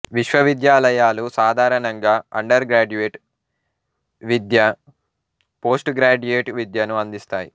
విశ్వవిద్యాలయాలు సాధారణంగా undergraduate విద్య పోస్ట్ గ్రాడ్యుయేట్ విద్యను అందిస్తాయి